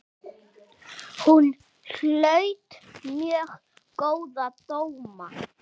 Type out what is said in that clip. Hún hlaut mjög góða dóma.